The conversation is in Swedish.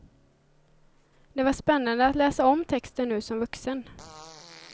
Det var spännade att läsa om texten nu som vuxen.